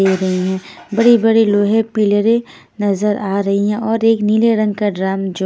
बड़े बड़े लोहे पिलरें नजर आ रही है और एक नीले रंग का ड्राम जो --